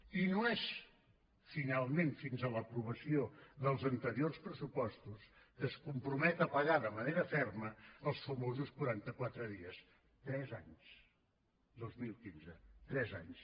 i no és finalment fins a l’aprovació dels anteriors pressupostos que es compromet a pagar de manera ferma els famosos quaranta quatre dies tres anys dos mil quinze tres anys